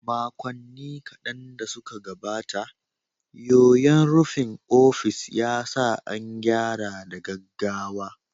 Makonni kaɗan da suka gabata, yoyon rufin ofis ya sa an gyara da gaggawa.